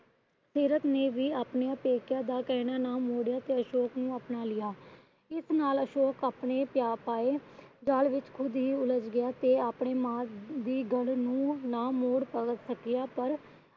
ਸੀਰਤ ਨੇ ਵੀ ਆਪਣੇ ਪੇਕਿਆਂ ਦਾ ਕਹਿਣਾ ਨਾ ਮੋੜਿਆ ਤੇ ਅਸ਼ੋਕ ਨੂੰ ਆਪਣਾ ਲਿਆ। ਇਸ ਨਾਲ ਅਸ਼ੋਕ ਆਪਣੇ ਪਾਏ ਜਾਲ ਵਿੱਚ ਖੁਦ ਹੂ ਉਲਝ ਗਿਆ। ਤੇ ਆਪਣੀ ਮਾਂ ਦੀ ਗੱਲ ਨੂੰ ਨਾ ਮੋੜ ਪਾਇਆ ਸਕਿਆ। ਪਰ